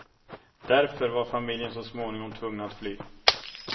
Därför var familjen så småningom tvungna att fly.